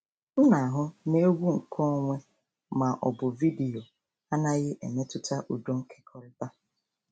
M na-ahụ na egwu nkeonwe ma ọ bụ vidiyo anaghị emetụta udo nkekọrịta.